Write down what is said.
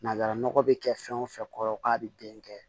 Nanzara nɔgɔ bɛ kɛ fɛn o fɛn kɔrɔ k'a bɛ den kɛ